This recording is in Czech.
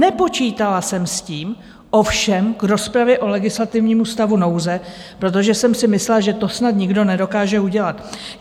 Nepočítala jsem s tím ovšem k rozpravě o legislativnímu stavu nouze, protože jsem si myslela, že to snad nikdo nedokáže udělat.